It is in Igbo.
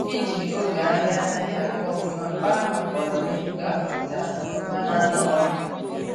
iji oge ahia anaghi aga ofuma kpaa maka ọdịnihu ga akwalite akụ na ụba na anọ ọdụ